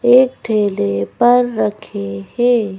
एक ठेले पर रखे हे।